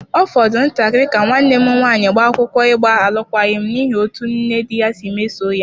Ọ fọrọ ntakịrị ka nwanne m nwaanyị gbaa akwụkwọ ịgba alụkwaghịm n’ihi otú nne dị ya si mesoo ya.